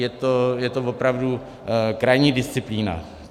Je to opravdu krajní disciplína.